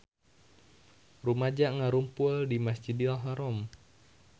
Rumaja ngarumpul di Masjidil Haram